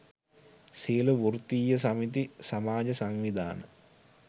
සියළු වෘත්තීය සමිති සමාජ සංවිධාන